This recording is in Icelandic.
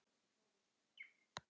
Veröld gefur bókina út.